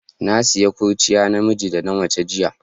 Na siya kurciya na miji da na mace jiya.